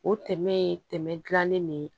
O tɛmɛ ye tɛmɛ dilannen ne